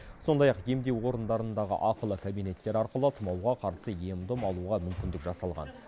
сондай ақ емдеу орындарындағы ақылы кабинеттер арқылы тұмауға қарсы ем дом алуға мүмкіндік жасалған